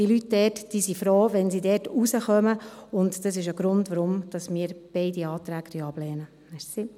Die Leute dort sind froh, wenn sie dort rauskommen, und das ist ein Grund dafür, dass wir beide Anträge ablehnen.